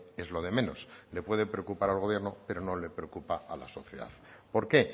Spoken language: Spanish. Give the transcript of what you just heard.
es lo de menos le puede preocupar al gobierno pero no le preocupa a la sociedad por qué